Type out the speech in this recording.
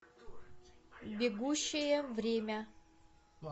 бегущее время